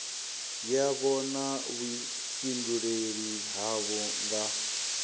yavho na vhuifhinduleli havho nga